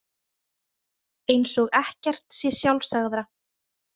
Eins og ekkert sé sjálfsagðara.